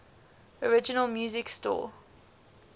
original music score